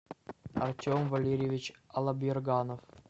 артем валерьевич аллаберганов